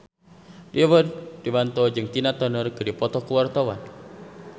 Rio Dewanto jeung Tina Turner keur dipoto ku wartawan